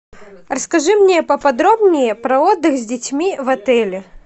расскажи мне поподробнее про отдых с детьми в отеле